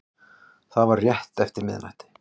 Það var rétt eftir miðnætti